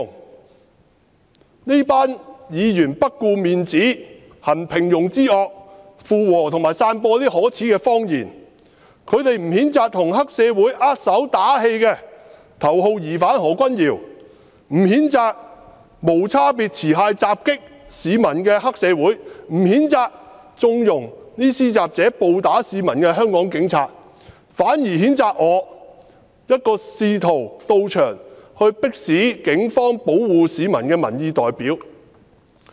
這幾位議員不顧面子，行平庸之惡，附和及散播可耻的謊言。他們不譴責跟黑社會握手打氣的頭號疑犯何君堯議員，不譴責無差別持械襲擊市民的黑社會，不譴責縱容施襲者暴打市民的香港警察，反而譴責我，一個試圖到場迫使警方保護市民的民意代表。